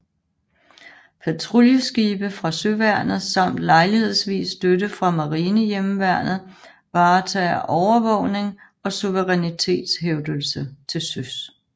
Patruljeskibe fra søværnet samt lejlighedsvis støtte fra Marinehjemmeværnet varetager overvågning og suverænitetshævdelse til søs